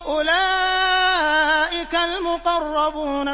أُولَٰئِكَ الْمُقَرَّبُونَ